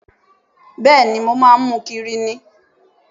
Bẹ́ẹ̀ni, mo máa ń mu kiri ni